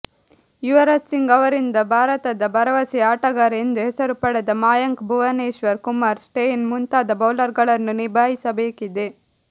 ಯುವರಾಜ್ ಸಿಂಗ್ ಅವರಿಂದ ಭಾರತದ ಭರವಸೆಯ ಆಟಗಾರ ಎಂದು ಹೆಸರುಪಡೆದ ಮಾಯಾಂಕ್ ಭುವನೇಶ್ವರ್ ಕುಮಾರ್ ಸ್ಟೇನ್ ಮುಂತಾದ ಬೌಲರುಗಳನ್ನು ನಿಭಾಯಿಸಬೇಕಿದೆ